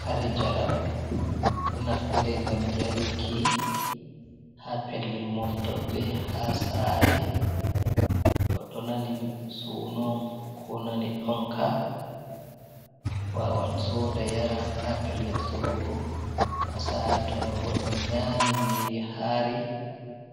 Kare njaram ɗo naftire ngam yaruki haa pellel moftorde, haa sare, goɗɗo nani suno on ko nani ɗonka wawan soda yara, haa pellel sorugo, haa sare to goɗɗo nyami nyiri haari